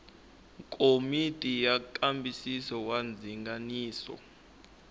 komiti ya nkambisiso wa ndzinganiso